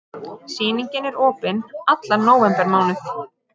Sýningin er opin allan nóvembermánuð.